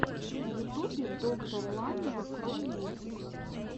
в ютубе доктор ламия кроу мультик